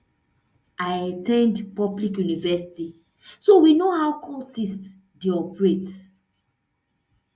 i at ten d public university so we know how cultists dey operate